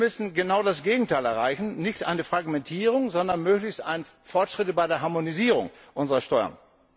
Wir müssen genau das Gegenteil erreichen, nicht eine Fragmentierung, sondern möglichst Fortschritte bei der Harmonisierung unserer Steuern.